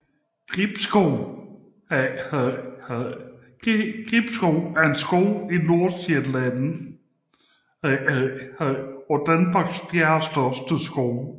Gribskov er en skov i Nordsjælland og Danmarks fjerdestørste skov